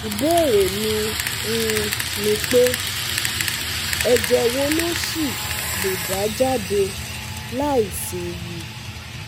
Ìbéèrè mi um ni pé, ẹ̀jẹ̀ wo ló ṣì lè dà jáde láìséwu?